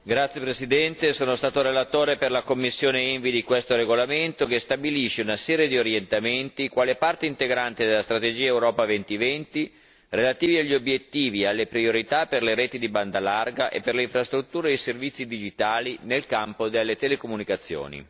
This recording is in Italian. Signora Presidente, onorevoli colleghi, sono stato relatore per la commissione ENVI su questo regolamento che stabilisce una serie di orientamenti, quale parte integrante della strategia Europa 2020, relativi agli obiettivi e alle priorità per le reti di banda larga e per le infrastrutture e i servizi digitali nel campo delle telecomunicazioni.